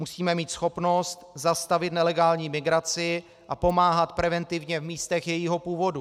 Musíme mít schopnost zastavit nelegální migraci a pomáhat preventivně v místech jejího původu.